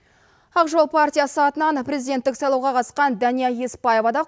ақжол партиясы атынан президенттік сайлауға қатысқан дания еспаева да